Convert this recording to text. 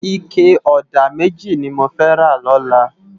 Iké òdá mèjí ni mó fè rá lòlá